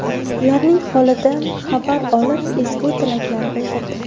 Ularning holidan xabar olib, ezgu tilaklar bildirdi.